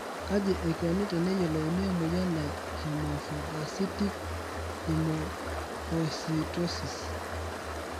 Kaji eikoni teneyiolouni emoyian e hemophagocytic lymphohistiocytosis?